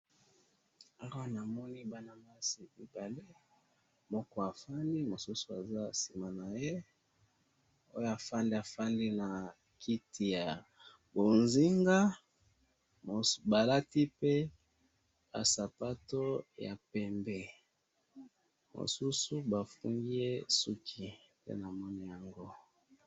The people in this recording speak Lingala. Awa namoni bana basi mibali, moko afandi mosusu aza sima naye, oyo afandi, afandi na kiti ya bozinga, ba lati pe ba sapatu ya pembe, mosusu ba fungi ye suki, nde namoni yango.